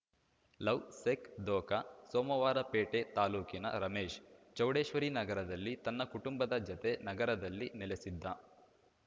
love sex Dhokha Somwarpet ತಾಲೂಕಿನ ರಮೇಶ್‌ ಚೌಡೇಶ್ವರಿ ನಗರದಲ್ಲಿ ತನ್ನ ಕುಟುಂಬದ ಜತೆ ನಗರದಲ್ಲಿ ನೆಲೆಸಿದ್ದ